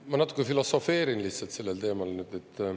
Ma natuke filosofeerin sellel teemal.